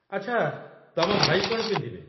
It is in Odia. ଆଚ୍ଛା, ତମ ଭାଇ କ'ଣ ପିନ୍ଧିବେ?